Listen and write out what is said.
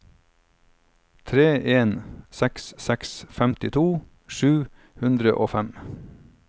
tre en seks seks femtito sju hundre og fem